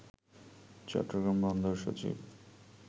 চট্টগ্রাম বন্দর সচিব